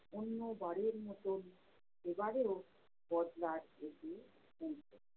অন্যবারের মতন এবারেও বজরা